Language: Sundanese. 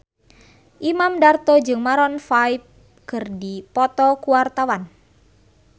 Imam Darto jeung Maroon 5 keur dipoto ku wartawan